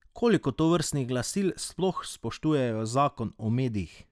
Koliko tovrstnih glasil sploh spoštuje zakon o medijih?